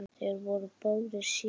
Þeir voru báðir séní.